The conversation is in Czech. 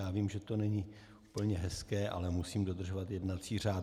Já vím, že to není úplně hezké, ale musím dodržovat jednací řád.